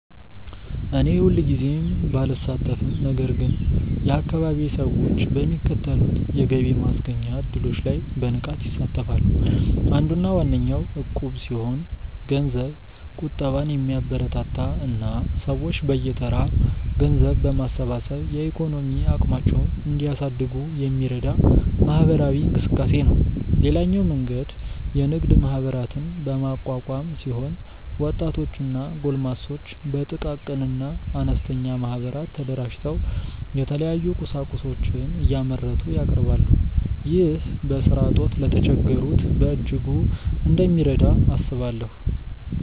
እኔ ሁልጊዜ ባልሳተፍም ነገር ግን የአካባቢዬ ሰዎች በሚከተሉት የገቢ ማስገኛ እድሎች ላይ በንቃት ይሳተፋሉ። አንዱና ዋነኛው እቁብ ሲሆን ገንዘብ ቁጠባን የሚያበረታታ እና ሰዎች በየተራ ገንዘብ በማሰባሰብ የኢኮኖሚ አቅማቸውን እንዲያሳድጉ የሚረዳ ማህበራዊ እንቅስቃሴ ነው። ሌላኛው መንገድ የንግድ ማህበራትን በማቋቋም ሲሆን ወጣቶች እና ጎልማሶች በጥቃቅንና አነስተኛ ማህበራት ተደራጅተው የተለያዩ ቁሳቁሶችን እያመረቱ ያቀርባሉ። ይህ በስራ እጦት ለተቸገሩት በእጅጉ እንደሚረዳ አስባለሁ።